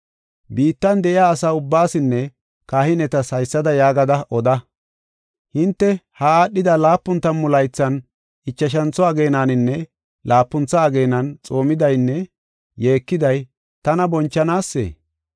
“Biittan de7iya asa ubbaasinne kahinetas haysada yaagada oda: ‘Hinte ha aadhida laapun tammu laythan ichashantho ageenaninne laapuntha ageenan xoomidaynne yeekiday tana bonchanaasee?